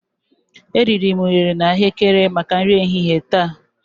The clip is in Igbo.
ariri m unere na Ahụekere maka nri ehihie taa.